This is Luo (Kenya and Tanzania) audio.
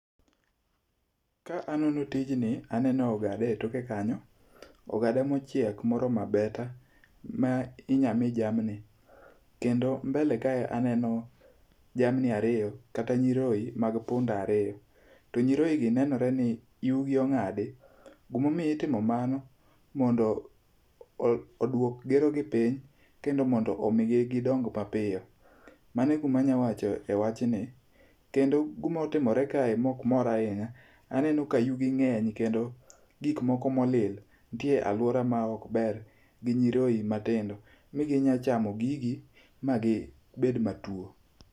ka anono tijni aneno ogada e toke kanyo, ogada mochiek moromo abeta ma inya mii jamni. Kendo mbele kae aneno jamni ariyo kata nyiroye mag punda ariyo kendo nyiroyi gi nenore ni iwgi ong'adi . Gimomiyo itimo mano mondo o oduok gerogi piny kendo omigi gidong mapiyo. Mane guma nya wache wachni. Kendo gimotimore kae mok mora ahinya aneno ka yugi ng'eny kendo gik moko molil ntie aluora mok ber gi nyiroye matindo, mi ginya chamo gigi ma gibed matuo.